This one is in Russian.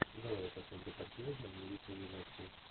давай я посмотрю картину в манере экранизации